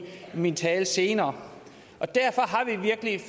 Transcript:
min tale senere derfor